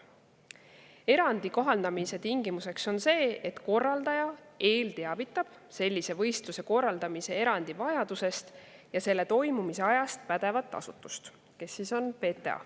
Erandi kohaldamise tingimuseks on see, et korraldaja teavitab enne sellise võistluse korraldamist erandi vajadusest ja selle toimumise ajast pädevat asutust, kes on PTA.